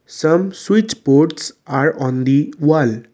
some switch boards are on the wall.